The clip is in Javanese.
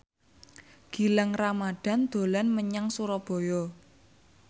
Gilang Ramadan dolan menyang Surabaya